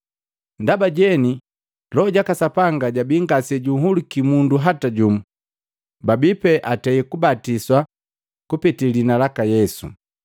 Ndaba jeni Loho jaka Sapanga jabii ngase junhuluki mundu hata jumu, babipee atei kabatisa kupete liina laka Yesu.